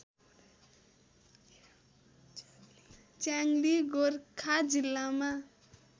च्याङली गोर्खा जिल्लामा